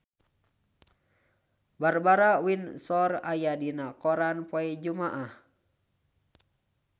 Barbara Windsor aya dina koran poe Jumaah